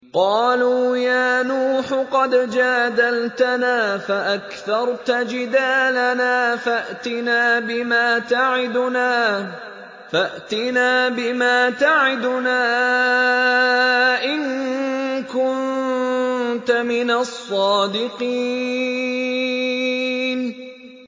قَالُوا يَا نُوحُ قَدْ جَادَلْتَنَا فَأَكْثَرْتَ جِدَالَنَا فَأْتِنَا بِمَا تَعِدُنَا إِن كُنتَ مِنَ الصَّادِقِينَ